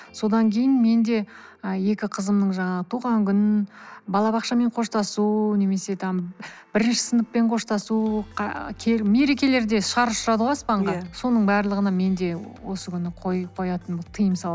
содан кейін мен де ы екі қызымның жаңағы тұған күн бала бақшамен қоштасу немесе там бірінші сыныппен қоштасу мерекелерде шар ұшырады ғой аспанға иә соның барлығына мен де осы күні қоятын тыйым